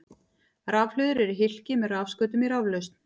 Rafhlöður eru hylki með rafskautum í raflausn.